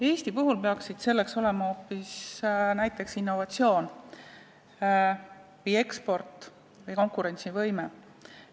Eesti puhul peaksid need olema hoopis näiteks innovatsioon, eksport või konkurentsivõime.